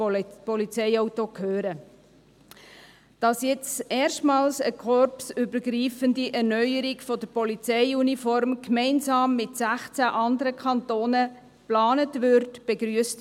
Meine Fraktion begrüsst, dass jetzt erstmals eine korpsübergreifende Erneuerung der Polizeiuniform, gemeinsam mit sechzehn anderen Kantonen geplant ist.